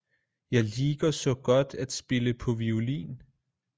Jeg liker saa godt at spille paa violin